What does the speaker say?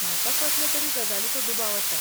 म्हाका कसले तरी गजालीचो दुबाव आसा.